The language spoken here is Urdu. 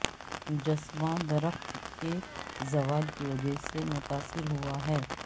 مجسمہ درخت کے زوال کی وجہ سے متاثر ہوا ہے